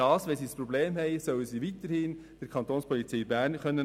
Wenn sie ein Problem haben, sollen sie weiterhin die Kantonspolizei Bern anrufen.